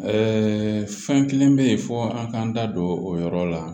fɛn kelen bɛ yen fo an k'an da don o yɔrɔ la